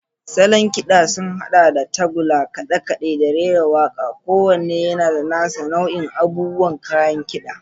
Salon kiɗan sun haɗa da tagulla, kaɗe-kaɗe, da rera waƙa, kowanne yana da nasa nau'ikan abubuwa da kayan kida.